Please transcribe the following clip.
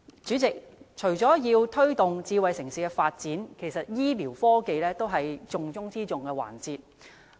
主席，除了要推動智慧城市發展外，醫療科技也是重中之重的環節。